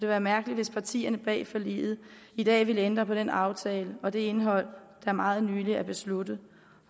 være mærkeligt hvis partierne bag forliget i dag ville ændre på den aftale og det indhold der meget nylig er besluttet